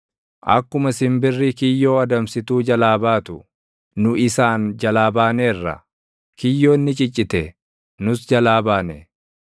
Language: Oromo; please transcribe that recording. Akkuma simbirri kiyyoo adamsituu jalaa baatu, nu isaan jalaa baaneerra; kiyyoon ni ciccite; nus jalaa baane.